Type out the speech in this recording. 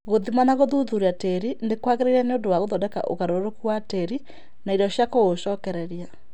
Gũthima na gũthuthuria tĩĩri nĩ kwagĩrĩire nĩũndũ wa gũthondeka ũgarũrũku wa tĩĩri na irio cia kũũcokereria